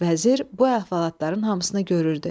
Vəzir bu əhvalatların hamısına görürdü.